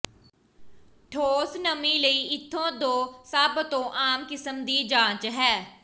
ਠੋਸ ਨਮੀ ਲਈ ਇੱਥੇ ਦੋ ਸਭ ਤੋਂ ਆਮ ਕਿਸਮ ਦੀ ਜਾਂਚ ਹੈ